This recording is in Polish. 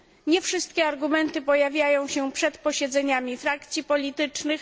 Nie wszystkie argumenty pojawiają się przed posiedzeniami frakcji politycznych.